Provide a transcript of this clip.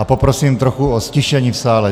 A poprosím trochu o ztišení v sále.